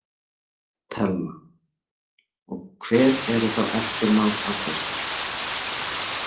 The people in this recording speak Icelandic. Telma: Og hver eru þá eftirmál af þessu?